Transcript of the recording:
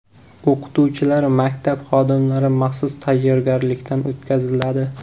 O‘qituvchilar, maktab xodimlari maxsus tayyorgarlikdan o‘tkaziladi.